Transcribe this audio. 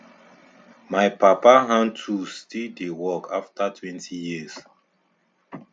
my papa hand tools still dey work after twenty years